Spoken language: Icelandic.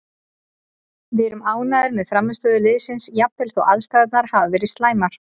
Við erum ánægðir með frammistöðu liðsins jafnvel þó aðstæðurnar hafi verið slæmar,